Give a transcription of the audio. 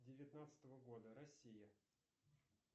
девятнадцатого года россия